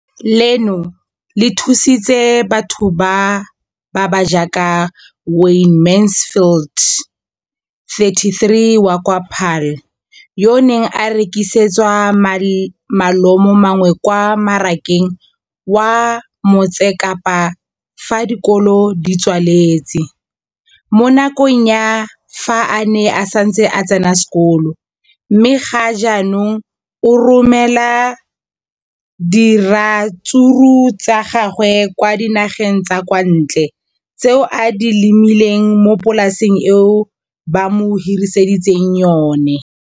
Leno le thusitse batho ba ba jaaka Wayne Mansfield, 33, wa kwa Paarl, yo a neng a rekisetsa malomagwe kwa Marakeng wa Motsekapa fa dikolo di tswaletse, mo nakong ya fa a ne a santse a tsena sekolo, mme ga jaanong o romela diratsuru tsa gagwe kwa dinageng tsa kwa ntle tseo a di lemileng mo polaseng eo ba mo hiriseditseng yona.